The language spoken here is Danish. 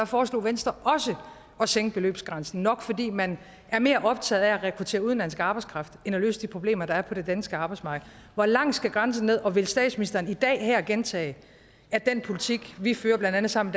foreslog venstre også at sænke beløbsgrænsen nok fordi man er mere optaget af at rekruttere udenlandsk arbejdskraft end af at løse de problemer der er på det danske arbejdsmarked hvor langt skal grænsen ned og vil statsministeren i dag her gentage at den politik vi fører blandt andet sammen